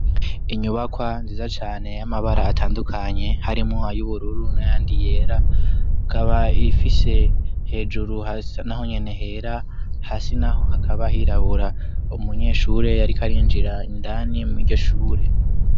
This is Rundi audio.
inyubakwa nziza cane y'amabara atandukanye harimo ay'ubururu nayandi yera kaba ifise hejuru naho nyenehera hasi naho hakaba hirabura umunyeshure yarikarinjira indani mwiryoshure